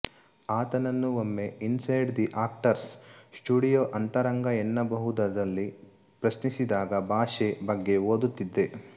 ಆತನನ್ನು ಒಮ್ಮೆ inside the actors studio ಅಂತರಂಗ ಎನ್ನಬಹುದುದಲ್ಲಿ ಪ್ರಶ್ನಿಸಿದಾಗ ಭಾಷೆ ಬಗ್ಗೆ ಓದುತ್ತಿದ್ದೆ